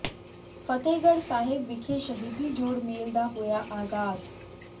ਫਤਿਹਗੜ੍ਹ ਸਾਹਿਬ ਵਿਖੇ ਸ਼ਹੀਦੀ ਜੋੜ ਮੇਲ ਦਾ ਹੋਇਆ ਆਗਾਜ਼